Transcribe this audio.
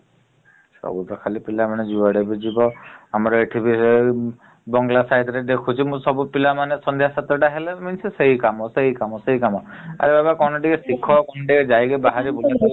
ସବୁତ ଖାଲି ପିଲାମାନେ ଜୁଆଡକୁ ଯିବ ଆମର ଏଠି ବି ବଙ୍ଗଲା side ରେ ଦେଖୁଛି ମୁଁ ସବୁ ପିଲାମାନେ ସନ୍ଧ୍ୟା ସାତ ଟା ହେଲେ ସେଇ କାମ ସେଇ କାମ ଆରେ ବାବା କଣ ଟିକେ ଶିଖ ବାହାରେ ଟିକେ ବୁଲାବୁଲି କର ।